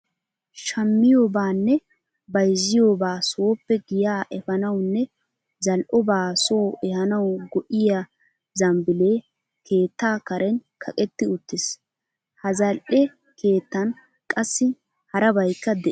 Shammiyobaanne bayzziyobaa sooppe giyaa efaanawunne zal"obaa soo ehaanawu go''iya zambbiilee keettaa kaaran kaqetti uttiis. Ha zal"e keettan qassi harabaykka de'ees.